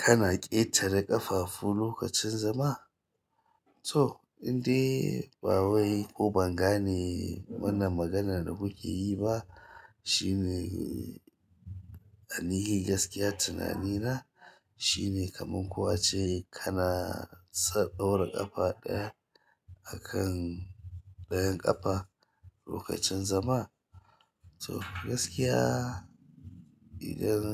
Kana ƙetare ƙafafu lokacin zama? To, indai ba wai ko ban gane wannan maganan da kuke yi ba shine a nihi gaskiya tunani na shine kaman ko a ce kana san ɗaura ƙafa ɗaya akan ɗayan ƙafa lokacin zama. To gaskiya idan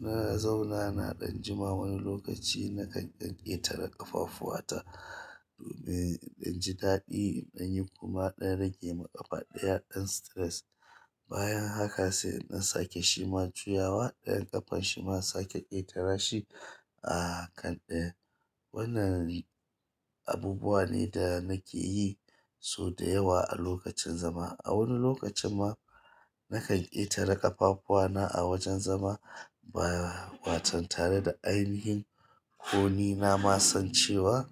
na zauna na ɗan jima wani lokaci nakan ɗan ƙetare ƙafafuwata domin in ji daɗi in ɗan yi kuma ɗan rage min ƙafa ɗaya ɗan stress. Bayan haka sai in dan sake shi ma juyawa ɗayan ƙafan shi ma in sake ƙetara shi a kan ɗayan. Wannan abubuwa ne da nake yi sau da yawa a lokacin zama. A wani lokacin ma nakan ƙetare ƙafafuana a wajen zama ba watan tare da ainihin ko ni na ma san cewa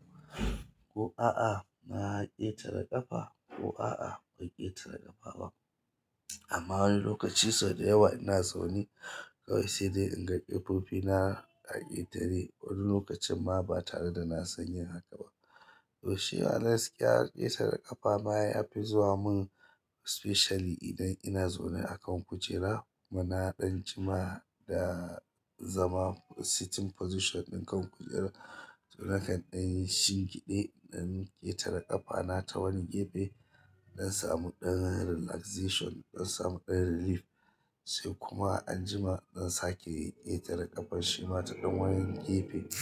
ko a'a na ƙetare ƙafa ko a'a bai ƙetare ƙafa ba. Amma wani lokaci sau da yawa ina zaune kawai sai dai in ga ƙafofina a ƙetare wani lokacin ma ba tare da na san yin haka ba. To shi a gaskiya ƙetare ƙafa ba ya fi zuwa mun especially idan ina zaune a kan kujera mana ɗan jima da zama sitting position ɗin kan kujera. Na kan dan shingide in dan jetara ƙafana ta wani gefe in dan samu dan relaxation in dan samu dan releaf sai kuma anjima in sake ƙetara kafar shima ta dan wani gefe to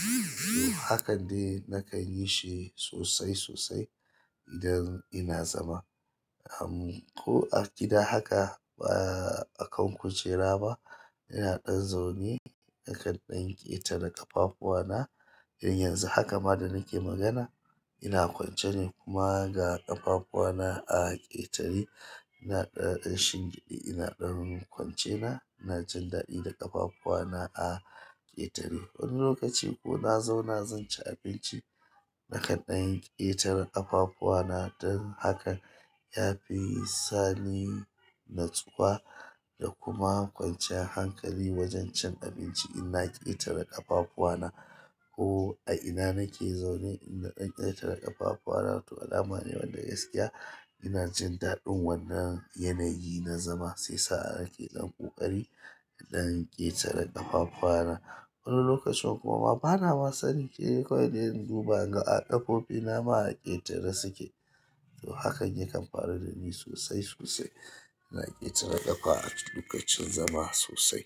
hakan de nakan yi shi sosai sosai idan ina zama. Um ko a gida haka ba a kan kujera ba ina ɗan zaune nakan ɗan ƙetara ƙafafuwana. Idan yanzu haka ma da nake magana ina kwance ne kuma ga ƙafafuana a ƙetare. Ina ɗan shinge ina ɗan kwance na, ina jin daɗi da ƙafafuwana a ƙetare. Wani lokaci ko na zauna zan ci abinci nakan ɗan ƙetaren ƙafafuwana dan hakan ya fi sani natsuwa da kuma kwanciyar hankali wajen cin inna ƙetara kafafuwsna abinci ko a ina nake zaune idan ɗan ƙetare ƙafafuwana to alama ne wannan gaskiya ina jin daɗin wannan yanayi na zama sai shiya sa nake dan ƙoƙari dan ƙetara ƙafafuwana. Wani lokacin kuma ba na ma sani sai de kawai dai in duba in ga a ƙafofina ma a ƙetare suke. To hakan yakan faru da ni sosai sosai. Na ƙetare ƙafa a lokacin zama sosai.